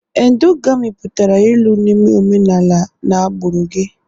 endogami pụtara ịlụ n'ime omenala na agbụrụ gị